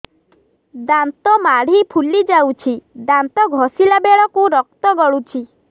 ଦାନ୍ତ ମାଢ଼ୀ ଫୁଲି ଯାଉଛି ଦାନ୍ତ ଘଷିଲା ବେଳକୁ ରକ୍ତ ଗଳୁଛି